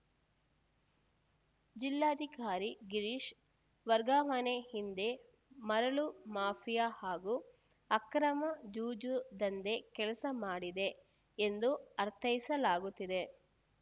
ಜಿಲ್ಲಾಧಿಕಾರಿ ಗಿರೀಶ್‌ ವರ್ಗಾವಣೆ ಹಿಂದೆ ಮರಳು ಮಾಫಿಯಾ ಹಾಗೂ ಅಕ್ರಮ ಜೂಜು ದಂಧೆ ಕೆಲಸ ಮಾಡಿದೆ ಎಂದು ಅರ್ಥೈಸಲಾಗುತ್ತಿದೆ